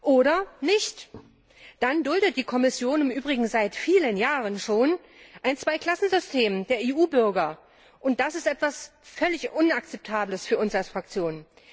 Oder nicht, dann duldet die Kommission im Übrigen seit vielen Jahren schon ein Zweiklassensystem der EU Bürger, und das ist etwas völlig Inakzeptables für uns als Fraktion.